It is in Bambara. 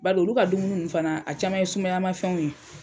Bal'olu ka dumuni nn fana a caman ye sumayamafɛnw ye.